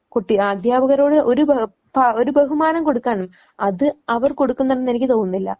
കുട്ടി അധ്യാപകരോട് ഒരു ബ ബഹുമാനം കൊടുക്കണം അത് അവർ കൊടുക്കുന്നുണ്ടെന്ന് എനിക്ക് തോന്നുന്നില്ല.